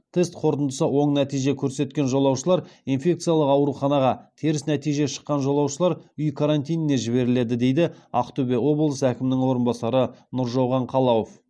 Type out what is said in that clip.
тест қорытындысы оң нәтиже көрсеткен жолаушылар инфекциялық ауруханаға теріс нәтиже шыққан жолаушылар үй карантиніне жіберіледі дейді ақтөбе облысы әкімінің орынбасары нұржауған қалауов